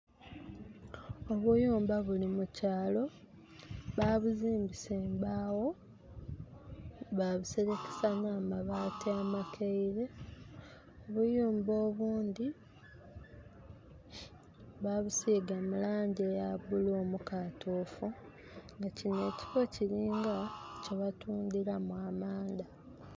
Obuyumba buli mukyalo ba buzimbisa embaawo ba buserekesa na mabaati amakaire. Obuyumba obundi babusiga mu langi eya bulu omukatufu. Kino ekifo kiringa kyebatundiramu amanda